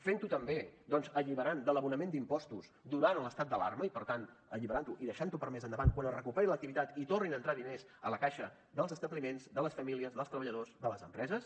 fent ho també doncs alliberant de l’abonament d’impostos durant l’estat d’alarma i per tant alliberant ho i deixant ho per a més endavant quan es recuperi l’activitat i tornin a entrar diners a la caixa dels establiments de les famílies dels treballadors de les empreses